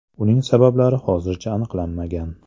Uning sabablari hozircha aniqlanmagan.